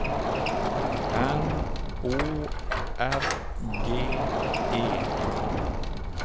N O R G E